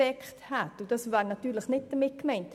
Doch das wäre nicht in meinem Sinn.